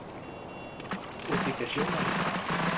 obligationer